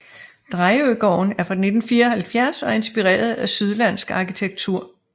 Drejøgården er fra 1974 og er inspireret af sydlandsk arkitektur